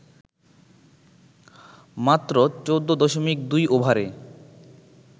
মাত্র ১৪.২ ওভারে